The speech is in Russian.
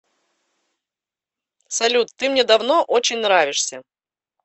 салют ты мне давно очень нравишься